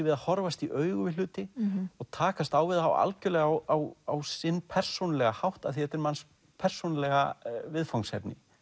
við að horfast í augu við hluti og takast á við það algjörlega á á á sinn persónulega hátt því þetta er manns persónulega viðfangsefni